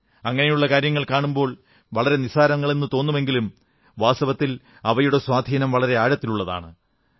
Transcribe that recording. അങ്ങനെയുള്ള കാര്യങ്ങൾ കാണുമ്പോൾ വളരെ നിസ്സാരങ്ങളെന്നു തോന്നുമെങ്കിലും വാസ്തവത്തിൽ അവയുടെ സ്വാധീനം വളരെ ആഴത്തിലുള്ളതാണ്